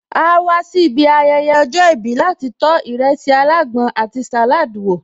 Áá wá sí ibi ayẹyẹ ọjọ́ ìbí láti tó ìrẹsì alágbọn àti salad wo